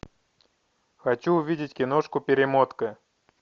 хочу увидеть киношку перемотка